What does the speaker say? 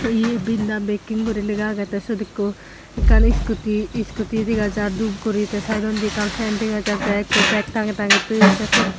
ye binda beking guri lega age te siyot ikko ekkan scooty scooty dega jar doob guri te side ondi ekkan fen dega jar te ekko beg tange tange toyon te siyot.